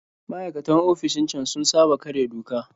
Maikatan ofishin can sun saba karya doka